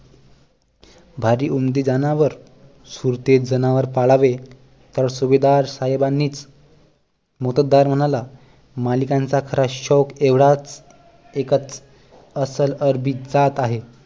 भारी उमदे जनावर सुरतेत जनावर पाळावे तर सुभेदार साहेबांनीच मोत्तद्दार म्हणाला मालिकांचा खरा शौक एवढाच एक अस्सल अरबी जात आहे